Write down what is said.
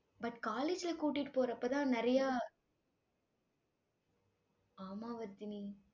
but college ல கூட்டிட்டு போறப்பதான் நிறைய ஆமா வர்தினி